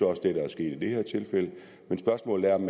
også det der er sket i det her tilfælde men spørgsmålet er om